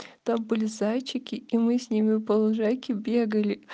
там были зайчики и мы с ними по лужайке бегали